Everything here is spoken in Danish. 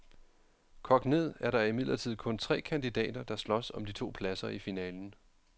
Kogt ned er der imidlertid kun tre kandidater, der slås om de to pladser i finalen.